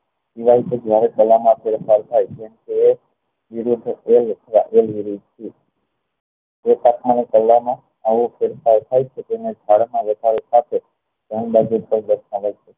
જયારે ફેરફાર થાય તેમ તે આવો ફેરફાર થાય તે